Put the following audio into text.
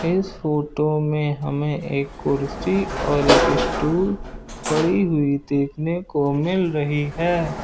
इस फोटो में हमें एक कुर्सी और एक स्टूल पड़ी हुई देखने को मिल रही है।